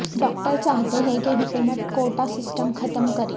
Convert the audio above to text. doctor چاہتے ہیں کہ حکومت کوٹہ سسٹم ختم کرے